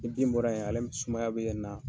Ni bin bɔra yen min sumaya be na